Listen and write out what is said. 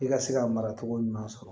I ka se ka mara cogo ɲuman sɔrɔ